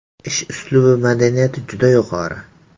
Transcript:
Ish uslubi madaniyati juda yuqori.